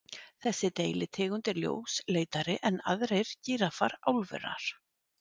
Þessi deilitegund er ljósleitari en aðrir gíraffar álfunnar.